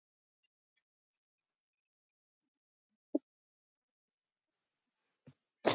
Guðbrandur, hvað er að frétta?